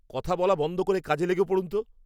কথা বলা বন্ধ করে কাজে লেগে পড়ুন তো!